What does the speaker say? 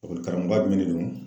karamɔgɔba jumɛn de don.